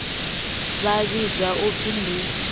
vha vhidzwa u pfi ndi